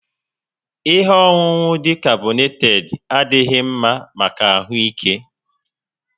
Ihe ọṅụṅụ dị carbonated adighi mma maka ahụ ike